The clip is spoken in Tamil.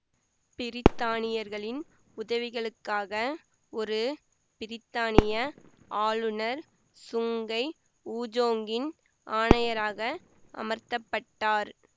பிரித்தானியர்களின் உதவிகளுக்காக ஒரு பிரித்தானிய ஆளுநர் சுங்கை ஊஜோங்கின் ஆணையராக அமர்த்த பட்டார்